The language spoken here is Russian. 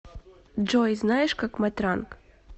джой знаешь как матранг